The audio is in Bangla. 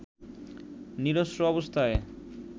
নিরস্ত্র অবস্থায়